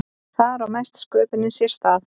þar á mesta sköpunin sér stað